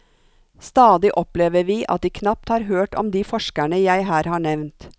Stadig opplever vi at de knapt har hørt om de forskerne jeg her har nevnt.